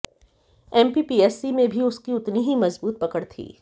MPPSC में भी उसकी उतनी ही मजबूत पकड़ थी